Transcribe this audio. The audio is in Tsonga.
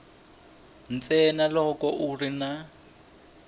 ntsena loko ku ri na